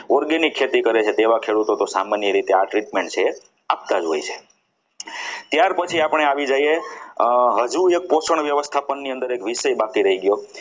organic ખેતી કરે છે તેવા ખેડૂતોની સામાન્ય રીતે આ treatment છે આપતા જ હોય છે ત્યાર પછી આપણે આવી જઈએ હજુ એક પોષણ વ્યવસ્થાપનની અંદર એક વિષય બાકી રહી ગયો.